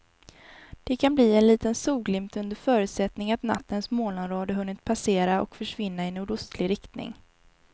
Det kan bli en liten solglimt under förutsättning att nattens molnområde hunnit passera och försvinna i nordostlig riktning.